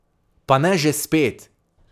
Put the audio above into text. Pa ne že spet!